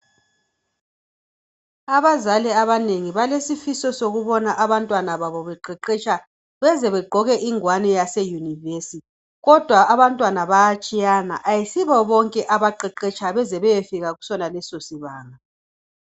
Abazali abanengi balesifiso sokubona abantwana babo beqeqesha beze begqoke ingwani yase university kodwa abantwana bayatshiyana ayisibo bonke abaqeqesha beze beyefika kusoneso sibanga